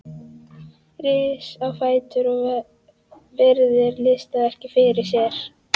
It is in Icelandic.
Rís á fætur og virðir listaverkið fyrir sér.